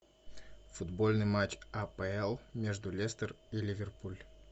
футбольный матч апл между лестер и ливерпуль